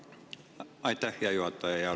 Aitäh, hea juhataja!